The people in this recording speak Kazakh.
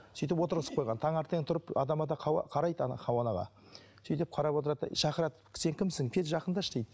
сөйтіп отырғызып қойған таңертең тұрып адам ата қарайды хауа анаға сөйтіп қарап отырады да шақырады сен кімсің кел жақындашы дейді